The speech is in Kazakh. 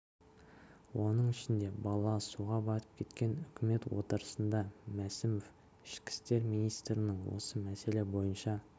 оның ішінде бала суға батып кеткен үкімет отырысында мәсімов ішкі істер министрінен осы мәселе бойынша